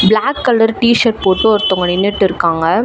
Black colour T shirt போட்டுட்டு ஒருதங்க நின்னுட்ருக்காங்க.